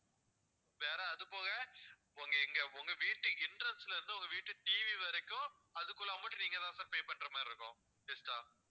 வேற அதுப்போக உங்க எங்க உங்க வீட்டு entrance ல இருந்து உங்க வீட்டு TV வரைக்கும் அதுக்குள்ள amount நீங்க தான் sir pay பண்ற மாதிரி இருக்கும் extra